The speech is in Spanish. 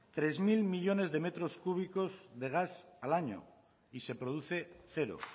tres mil millónes de metros cúbicos de gas al año y se produce cero